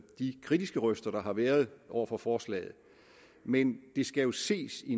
de kritiske røster der har været over for forslaget men det skal jo ses i